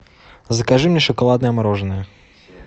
закажи мне шоколадное мороженое